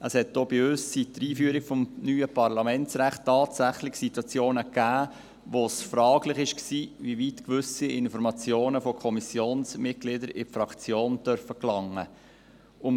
Auch bei uns gab es seit der Einführung des neuen Parlamentsrechts tatsächlich Situationen, wo es fragwürdig war, inwieweit gewisse Informationen von Kommissionsmitgliedern in die Fraktion gelangen dürfen.